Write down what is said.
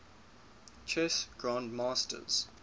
chess grandmasters